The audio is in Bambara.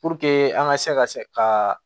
Puruke an ka se ka se ka